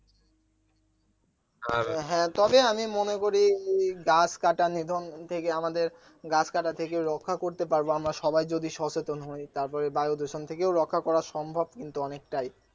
হ্যা তবে আমি মনে করি গাছ কাটা নিধন থেকে আমাদের গাছ কাটা থেকে রক্ষা করতে পারবো আমরা সবাই যদি সচেতন হই তারপরে বায়ু দূষণ থেকে ও রক্ষা করা সম্ভব কিন্তু অনেকটাই